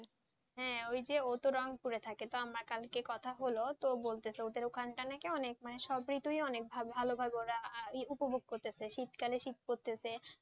হ্যাঁ ওই যে ওতো রংপুরে থাকেতো আমার কালকে কথা হল ও বলতেছে ওদের ওখানটা নাকি অনেক সব ঋতুই ওরা অনেক ভালোভাবে ওরা উপভোগ করতেছে শীতকালে শীত করতেছে,